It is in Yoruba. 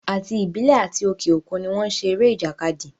Àti ìbílẹ̀ àti òke òkun ni wọ́n n ṣe eré ìjàkadì